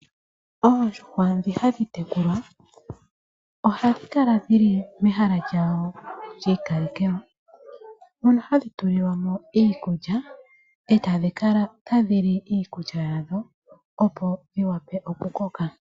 Oondjuhwa dhi hadhi tekulwa ohadhi kala dhili mehala lyawo lyiikalekelwa, mono hadhi tulilwa mo iikulya, etadhi kala tadhi li iikulya yadho.